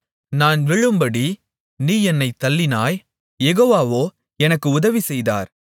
நான் விழும்படி நீ என்னைத் தள்ளினாய் யெகோவாவோ எனக்கு உதவி செய்தார்